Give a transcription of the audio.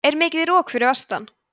er mikið rok fyrir vestan